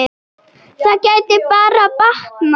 Það gæti bara batnað!